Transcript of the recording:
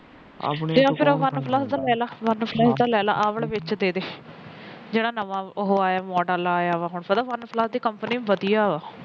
ਫਿਰ OnePlus ਦਾ ਲੈ ਲੈ ਵਨ ਪਲੱਸ ਦਾ ਲੈ ਲਾ ਆ ਵਾਲਾ ਵਿੱਚ ਦੇਦੇ ਜਿਹੜਾ ਨਵਾ model ਆਇਆ ਪਤਾ ਵਨ ਪਲੱਸ ਦੀ ਕੰਪਨੀ ਵਧੀਆ ਵਾ